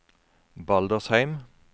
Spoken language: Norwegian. Baldersheim